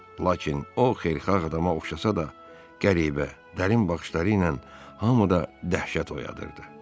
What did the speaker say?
Lakin o xeyirxah adama oxşasa da, qəribə, dərin baxışları ilə hamıda dəhşət oyadırdı.